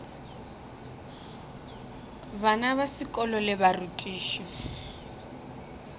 bana ba sekolo le barutiši